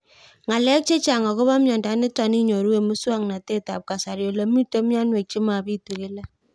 Ng'alek chechang' akopo miondo nitok inyoru eng' muswog'natet ab kasari ole mito mianwek che mapitu kila